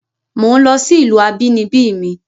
Mò ń lọ sí ìlú abínibí mi